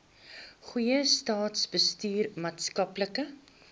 goeie staatsbestuur maatskaplike